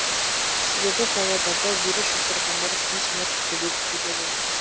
себебі павлодарда вирус жұқтырғандар күн санап көбейіп келеді